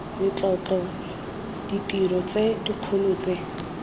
letlotlo ditiro tse dikgolo tse